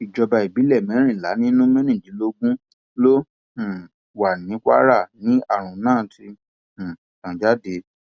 ìjọba ìbílẹ mẹrìnlá nínú mẹrìndínlógún tó um wà ní kwara ni àrùn náà ti um tàn dé